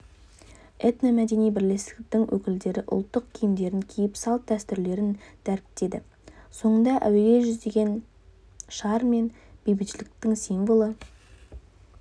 этномәдени бірлестіктің өкілдері ұлттық киімдерін киіп салт-дәстүрлерін дәріптеді соңында әуеге жүздеген шар мен бейбітшіліктің символы